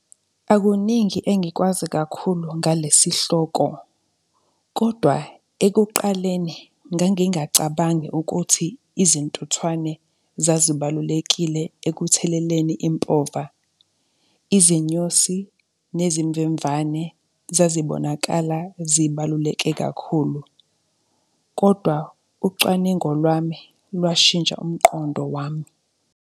Akuningi engikwazi kakhulu ngale sihloko, kodwa ekuqaleni ngangingacabangi ukuthi izintuthwane zazibalulekile ekutheleleni impova. Izinyosi nezimvemvane zazibonakala zibaluleke kakhulu kodwa ucwaningo lwami lwashintsha umqondo wami.